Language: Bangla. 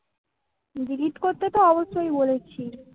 delete করতে তো অবশ্যই বলেছি